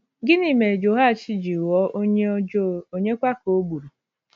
Gịnị mere Jehoash ji ghọọ onye ọjọọ, ònyekwa ka o gburu?